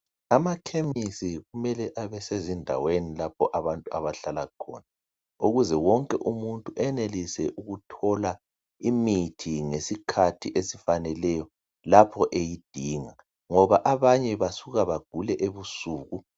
Amakhemisi kumele abe sezindaweni lapho abantu abahlala khona ukuze wonke umuntu enelise ukuthola imithi ngesikhathi esifaneleyo lapho eyidinga ngoba abanye basuke bagule ebusuku